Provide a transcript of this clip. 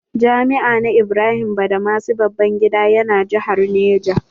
Jami'a na Ibrahim Badamasi Babangida ya na jihar Niger.